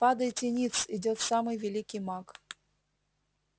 падайте ниц идёт самый великий маг